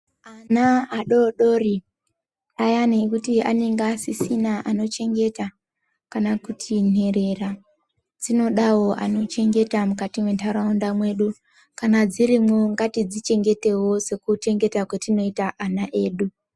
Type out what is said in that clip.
Ana adodori ayani ekuti anonga asisina anochengeta kana kuti nherera dzinodawo anochengeta mukati mwemunharaunda mwedu kana dzirimwo ngatidzichengetewo sekuchengeta kwetinoita ana edu.